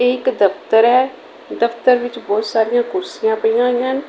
ਇਹ ਇੱਕ ਦਫ਼ਤਰ ਹੈ ਦਫ਼ਤਰ ਵਿੱਚ ਬਹੁਤ ਸਾਰੀਆਂ ਕੁਰਸੀਆਂ ਪਈਆਂ ਹੋਈਆਂ ਹਨ।